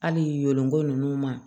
Hali yoloko ninnu ma